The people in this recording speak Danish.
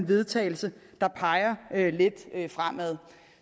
vedtagelse der peger lidt fremad